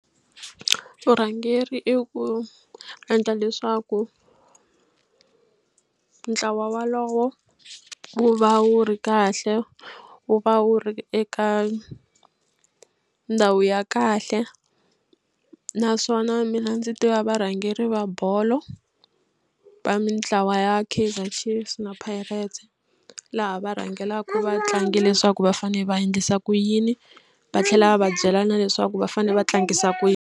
Vurhangeri i ku endla leswaku ntlawa wolowo wu va wu ri kahle wu va wu ri eka ndhawu ya kahle naswona mina ndzi tiva varhangeri va bolo va mitlawa ya Kaizer Chiefs na Pirate laha va rhangelaka vatlangi leswaku va fanele va endlisa ku yini va tlhela va va byela na leswaku va fanele va tlangisa ku yini.